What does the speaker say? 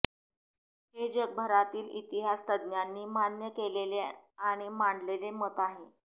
हे जगभरातील इतिहास तज्ञांनी मान्य केलेले आणि मांडलेले मत आहे